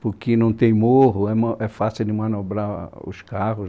porque não tem morro, é fácil de manobrar os carros.